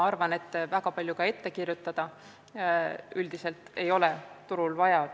Arvan üldiselt, et väga palju ette kirjutada ei ole turul vaja.